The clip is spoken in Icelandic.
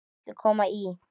Viltu koma í?